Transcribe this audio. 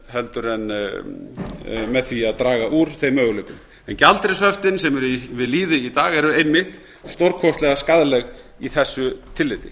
heldur en með því að draga úr þeim möguleikum en gjaldeyrishöftin sem eru við lýði í dag eru einmitt stórkostlega skaðleg í þessu tilliti